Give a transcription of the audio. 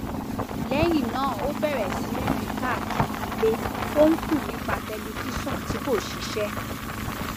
lẹyìn náà ó bẹrẹ sí rìn káàkiri ilé ó ń kùn nípa tẹlifíṣọn tí kò ṣiṣẹ